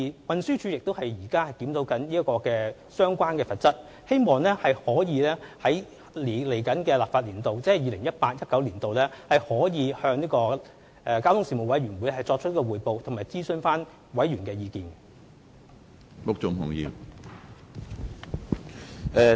運輸署現正檢討相關罰則，希望可以在下一個立法年度，即 2018-2019 年度，向交通事務委員會作出匯報及徵詢委員的意見。